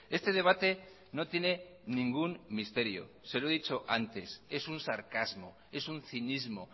este debate no tiene ningún misterio se lo he dicho antes es un sarcasmo es un cinismo